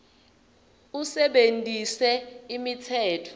usebentise imitsetfo